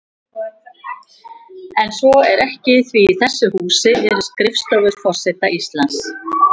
En svo er ekki því í þessu húsi eru skrifstofur forseta Íslands.